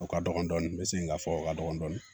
O ka dɔgɔn dɔɔni n bɛ segin k'a fɔ o ka dɔgɔn dɔɔni